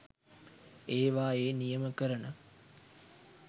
ඒවායේ නියම කරන